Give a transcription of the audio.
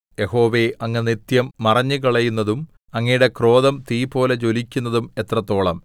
യഹോവേ അങ്ങ് നിത്യം മറഞ്ഞുകളയുന്നതും അങ്ങയുടെ ക്രോധം തീപോലെ ജ്വലിക്കുന്നതും എത്രത്തോളം